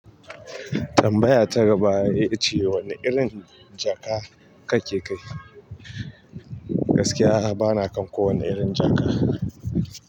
Tambaya ta gaba ita ce wani irin jaka kake kai? Gaskiya ba na kan kowani irin jaka.